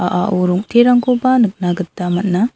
a·ao rong·terangkoba nikna gita man·a.